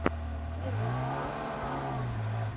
первый эпизод мадам ирмы